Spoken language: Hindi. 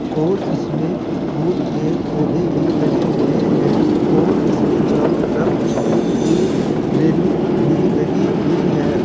और इसमें फुल के पौधे भी लगे हुए हैं और इसके चारों तरफ स्टील की रेलिंग भी लगी हुई है।